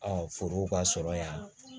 foro ka sɔrɔ yan